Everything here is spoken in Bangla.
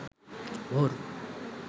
ভোর